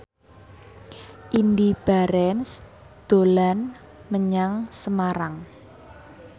Indy Barens dolan menyang Semarang